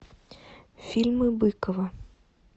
фильмы быкова